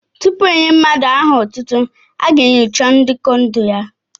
Tupu e nyé mmadụ aha otútú, a ga-enyocha ndekọ ndụ ya